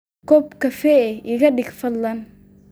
koob kafee ah iga dhig fadlan